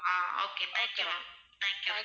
Ah okay thank you ma'am, thank you.